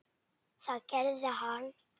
Það gerði hann.